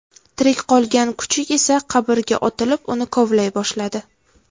Tirik qolgan kuchuk esa qabrga otilib, uni kovlay boshladi.